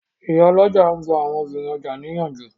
Ìyálọ́jà n gba àwọn obìnrin ọjà ní ìyànjú